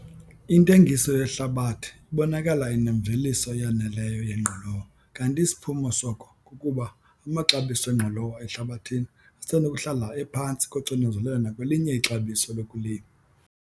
Intengiso yehlabathi ibonakala inemveliso eyaneleyo yengqolowa kanti isiphumo soko kukuba amaxabiso engqolowa ehlabathini asenokuhlala ephantsi koxinzelelo nakwelinye ixabiso lokulima.